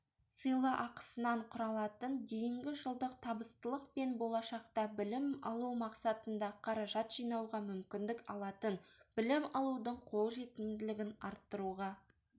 сыйлықақысынан құралатын дейінгі жылдық табыстылықпенболашақта білім алу мақсатында қаражат жинауға мүмкіндік алатынбілім алудың қолжетімділігін арттыруға